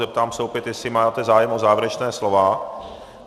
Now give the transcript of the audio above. Zeptám se opět, jestli máte zájem o závěrečné slovo.